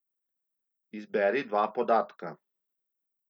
Izberi dva podatka.